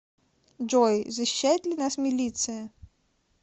джой защищает ли нас милиция